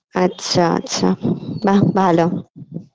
আচ্ছা আচ্ছা বাঃ ভালো